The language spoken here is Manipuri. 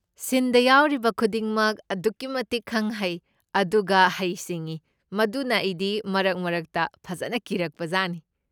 ꯁꯤꯟꯗ ꯌꯥꯎꯔꯤꯕ ꯈꯨꯗꯤꯡꯃꯛ ꯑꯗꯨꯛꯀꯤ ꯃꯇꯤꯛ ꯈꯪ ꯍꯩ, ꯑꯗꯨꯒ ꯍꯩ ꯁꯤꯡꯢ, ꯃꯗꯨꯅ ꯑꯩꯗꯤ ꯃꯔꯛ ꯃꯔꯛꯇ ꯐꯖꯅ ꯀꯤꯔꯛꯄꯖꯥꯠꯅꯤ꯫